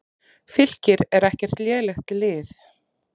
Fylkir er ekkert lélegt lið.